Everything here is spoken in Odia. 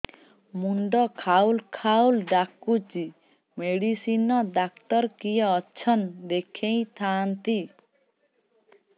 ମୁଣ୍ଡ ଖାଉଲ୍ ଖାଉଲ୍ ଡାକୁଚି ମେଡିସିନ ଡାକ୍ତର କିଏ ଅଛନ୍ ଦେଖେଇ ଥାନ୍ତି